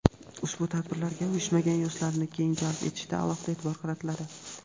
ushbu tadbirlarga uyushmagan yoshlarni keng jalb etishga alohida e’tibor qaratiladi.